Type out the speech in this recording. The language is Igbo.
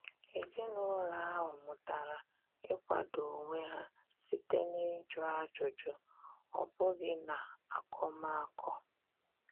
Ezinụlọ ahụ mụtara ịkwado onwe ha site na-ịjụ ajụjụ, ọ bụghị n'akọmakọ.